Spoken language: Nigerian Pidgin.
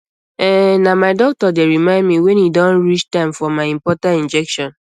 ehn na my doctor dey remind me wen e don reach time for my important injection